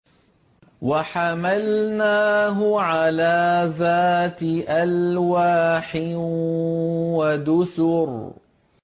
وَحَمَلْنَاهُ عَلَىٰ ذَاتِ أَلْوَاحٍ وَدُسُرٍ